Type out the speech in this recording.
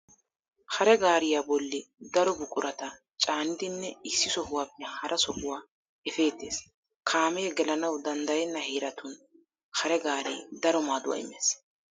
Hare gaariyaa bolli daro buqurata caanidinne issi sohuwaappe hara sohuwaa efeettees. Kaamee gelanawu danddayenna heeratun hare gaaree daro maaduwaa immees.